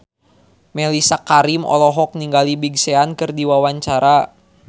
Mellisa Karim olohok ningali Big Sean keur diwawancara